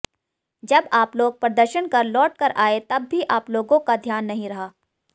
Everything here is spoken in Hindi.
जब आपलोग प्रदर्शन कर लौटकर आए तब भी आपलोगों का ध्यान नहीं रहा